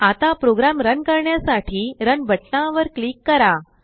आताप्रोग्राम run करण्यासाठी run बटनावर click करा